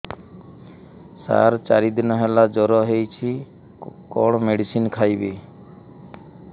ସାର ଚାରି ଦିନ ହେଲା ଜ୍ଵର ହେଇଚି କଣ ମେଡିସିନ ଖାଇବି